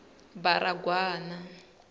baragwana